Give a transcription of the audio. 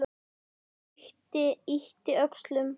Ragnar yppti öxlum.